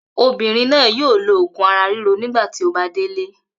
Obìnrin náà yóò lo òògùn ara ríro nígbà tí ó bá délé.